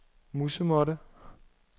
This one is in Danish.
musemåtte